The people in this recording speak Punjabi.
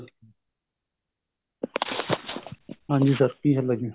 ਹਾਂਜੀ sir ਕੀ ਹਾਲ ਏ ਜੀ